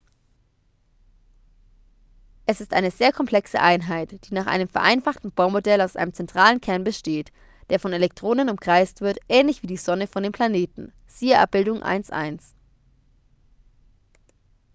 es ist eine sehr komplexe einheit die nach einem vereinfachten bohr-modell aus einem zentralen kern besteht der von elektronen umkreist wird ähnlich wie die sonne von den planeten siehe abbildung 1.1